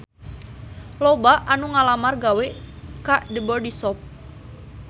Loba anu ngalamar gawe ka The Body Shop